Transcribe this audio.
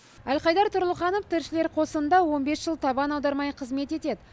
әлхайдар тұрлыханов тілшілер қосынында он бес жыл табан аудармай қызмет етеді